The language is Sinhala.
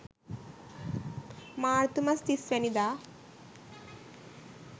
මාර්තු මස 30 වැනි දා